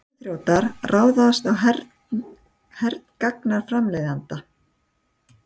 Tölvuþrjótar ráðast á hergagnaframleiðanda